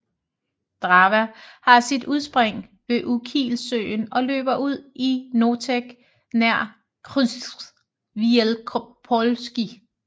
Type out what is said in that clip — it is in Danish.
Drawa har sit udspring ved Ukielsøen og løber ud i Noteć nær Krzyż Wielkopolski